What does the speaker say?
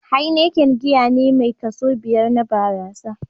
Heineken giya ne mai kaso biƴar na barasa.